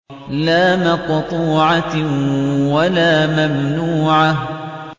لَّا مَقْطُوعَةٍ وَلَا مَمْنُوعَةٍ